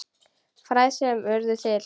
Fræ sem urðu til.